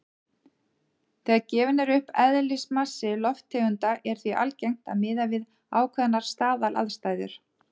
Þegar gefinn er upp eðlismassi lofttegunda er því algengt að miða við ákveðnar staðalaðstæður.